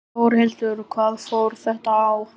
Þórhildur: Hvað fór þetta á?